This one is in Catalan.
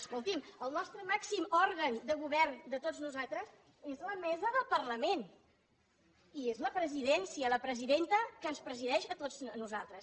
escolti’m el nostre màxim òrgan de govern de tots nosaltres és la mesa del parlament i és la presidència la presidenta que ens presideix a tots nosaltres